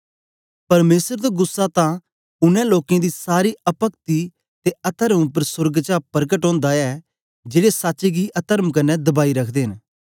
परमेसर दा गुस्सा तां उनै लोकें दी सारी अपक्ति ते अतर्म उपर सोर्ग चा परकट ओंदा ऐ जेड़े सच्च गी अतर्म कन्ने दबाई रखदे न